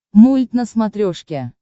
мульт на смотрешке